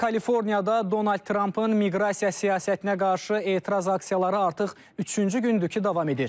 Kaliforniyada Donald Trampın miqrasiya siyasətinə qarşı etiraz aksiyaları artıq üçüncü gündür ki, davam edir.